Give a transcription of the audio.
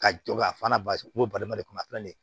Ka jɔ ka fana balima de kunna a filɛ nin ye